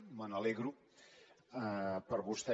me n’alegro per vostè